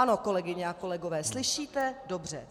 Ano, kolegyně a kolegové, slyšíte dobře.